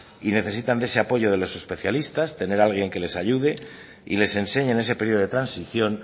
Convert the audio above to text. y necesitan de ese apoyo de los especialistas tener alguien que les ayude y les enseñe en ese periodo de transición